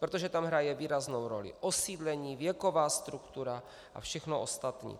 Protože tam hraje výraznou roli osídlení, věková struktura a všechno ostatní.